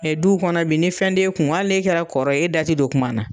Mɛ duw kɔnɔ bi ni fɛn t'e kun ali n'e kɛra kɔrɔ ye e da te dɔ kuma na